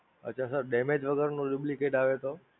અચ્છા Sir Damage વગર નું Duplicate આવે તો?